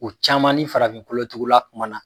O caman ni farafin kolotugula kumana.